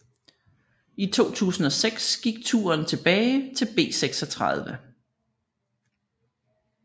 I 2006 gik turen tilbage til B36